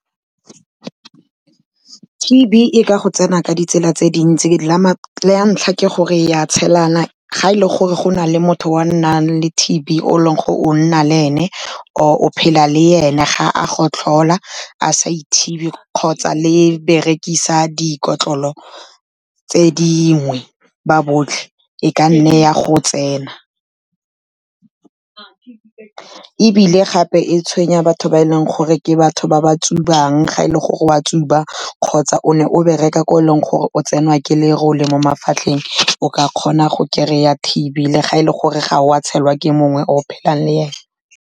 T_B e ka go tsena ka ditsela tse dintsi la ntlha ke gore ya tshelana, ga e le gore go na le motho wa nnang le T_B o leng gore o nna le ene, or o phela le ene, ga a gotlhola a sa ithibi kgotsa le berekisa dikotlolo tse dingwe ba botlhe, e ka nne ya go tsena. Ebile gape e tshwenya batho ba e leng gore ke batho ba ba tsubang, ga e le gore o a tsuba kgotsa o ne o bereka ko e leng gore o tsenwa ke lerole mo mafatlheng, o ka kgona go kry-a T_B le ga e le gore ga o a tshelwa ke mongwe o phelang le ene.